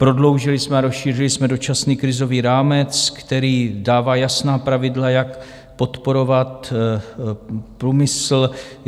Prodloužili jsme a rozšířili jsme dočasný krizový rámec, který dává jasná pravidla, jak podporovat průmysl.